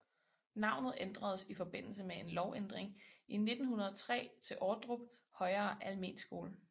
Navnet ændredes i forbindelse med en lovændring i 1903 til Ordrup højere Almenskole